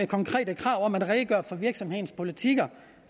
konkrete krav om at redegøre for virksomhedens politikker